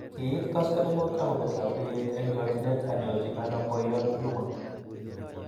Kiit koskolingut akobet lapkeiyet eng chokchinet anyorchi ano boiyot Juma